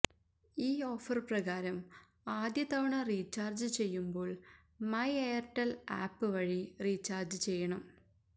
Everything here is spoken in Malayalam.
ഈ ഓഫര് പ്രകാരം ആദ്യതവണ റീചാര്ജ് ചെയ്യുമ്പോള് മൈ എയര്ടെല് ആപ്പ് വഴി റീചാര്ജ് ചെയ്യണം